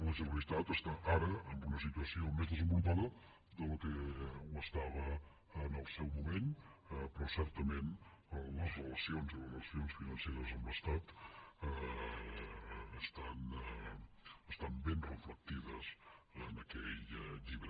la generalitat està ara en una situació més desenvolupada del que ho estava en el seu moment però certament les relacions les relacions financeres amb l’estat estan ben reflectides en aquell llibre